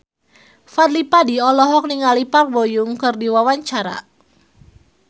Fadly Padi olohok ningali Park Bo Yung keur diwawancara